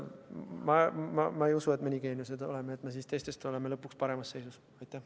Ma ei usu, et me nii suured geeniused oleme, et mitte kulutades lõpuks teistest paremasse seisu jõuame.